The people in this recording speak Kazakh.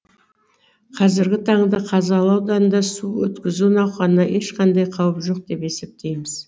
қазіргі таңда қазалы ауданында су өткізу науқанына ешқандай қауіп жоқ деп есептейміз